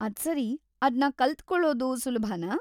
ಅದ್ಸರಿ, ಅದ್ನ ಕಲ್ತುಕೊಳ್ಳೋದು ಸುಲಭನಾ?